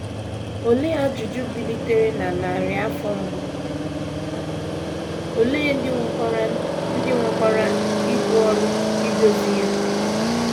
Olee ajụjụ bilitere na narị afọ mbụ, ole ndị nwekwara ndị nwekwara ibu ọrụ idozi ya?